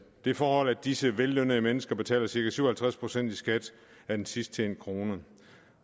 det forhold at disse vellønnede mennesker betaler cirka syv og halvtreds procent i skat af den sidst tjente krone